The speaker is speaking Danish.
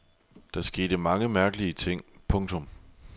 Der skete mange mærkelige ting. punktum